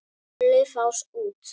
Laufás út.